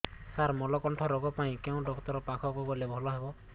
ସାର ମଳକଣ୍ଟକ ରୋଗ ପାଇଁ କେଉଁ ଡକ୍ଟର ପାଖକୁ ଗଲେ ଭଲ ହେବ